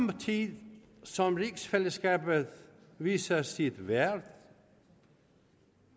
tid som rigsfællesskabet viser sit værd